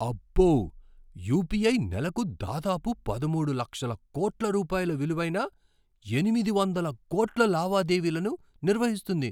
అబ్బో! యుపిఐ నెలకు దాదాపు పదమూడు లక్షల కోట్ల రూపాయల విలువైన ఎనిమిది వందల కోట్ల లావాదేవీలను నిర్వహిస్తుంది.